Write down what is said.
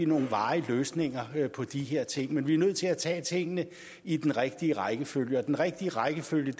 nogle varige løsninger på de her ting men vi nødt til at tage tingene i den rigtige rækkefølge den rigtige rækkefølge